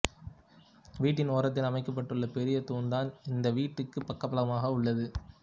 வீட்டின் ஒரத்தில் அமைக்கப்பட்டுள்ள பெரிய தூண்தான் இந்த வீட்டுக்குப் பக்கபலமாக உள்ளது